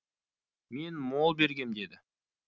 мен мол бергем деді